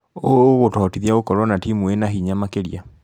ũũ ũgũtũhotithia gũkorwo na timu ĩna hinya makĩria.